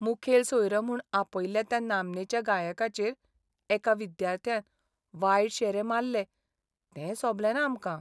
मुखेल सोयरो म्हूण आपयल्ल्या त्या नामनेच्या गायकाचेर एका विद्यार्थ्यान वायट शेरे माल्ले तें सोबलेंना आमकां.